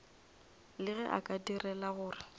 le ge a direla gore